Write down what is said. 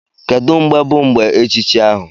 Kedu mgbe bụ mgbe echichi ahu?